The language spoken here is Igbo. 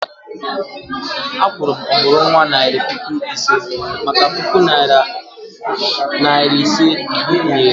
A kwuru m ọmụrụnwa naira puku ise maka puku narị naira ise nkwụnye ré